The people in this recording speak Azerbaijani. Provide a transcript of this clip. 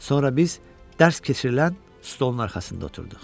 Sonra biz dərs keçirilən stolun arxasında oturduq.